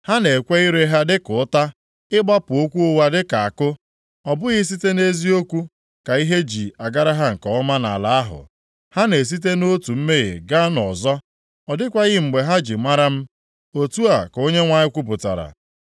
“Ha na-ekwe ire ha dịka ụta, ịgbapụ okwu ụgha dịka àkụ; Ọ bụghị site nʼeziokwu ka ihe ji agara ha nke ọma nʼala ahụ. Ha na-esite nʼotu mmehie gaa nʼọzọ; ọ dịkwaghị mgbe ha ji mara m,” otu a ka Onyenwe anyị kwupụtara.